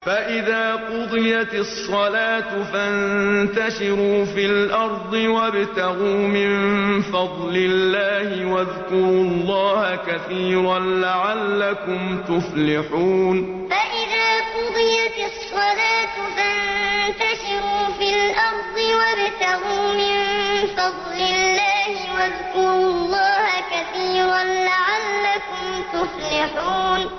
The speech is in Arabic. فَإِذَا قُضِيَتِ الصَّلَاةُ فَانتَشِرُوا فِي الْأَرْضِ وَابْتَغُوا مِن فَضْلِ اللَّهِ وَاذْكُرُوا اللَّهَ كَثِيرًا لَّعَلَّكُمْ تُفْلِحُونَ فَإِذَا قُضِيَتِ الصَّلَاةُ فَانتَشِرُوا فِي الْأَرْضِ وَابْتَغُوا مِن فَضْلِ اللَّهِ وَاذْكُرُوا اللَّهَ كَثِيرًا لَّعَلَّكُمْ تُفْلِحُونَ